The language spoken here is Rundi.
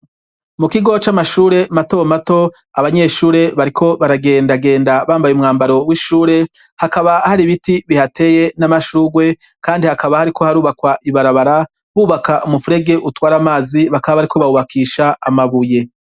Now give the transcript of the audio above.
Mu kigo c'amashure mato mato abanyeshure bariko baragenda genda bambaye umwambaro w'ishure hakaba hari biti bihateye n'amashugwe kandi hakaba hariko harubakwa ibarabara bubaka umufurege utware amazi bakaba bariko bawubakisha amabuye.